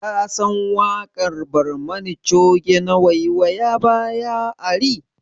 Ka san waƙar barmani coge na 'waiwaya baya ari'?